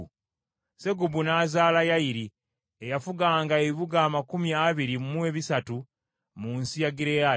Segubu n’azaala Yayiri, eyafuganga ebibuga amakumi abiri mu bisatu mu nsi ye Gireyaadi.